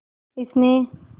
इसने